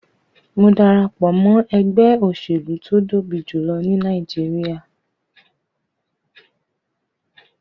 Mo darapo mọ ẹgbẹ oselu to tobi julọ ni Nàìjíríà